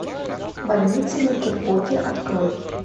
больница никербокер открой